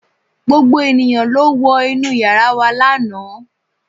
gbogbo ènìyàn ló wọ inú yàrá wa lánàá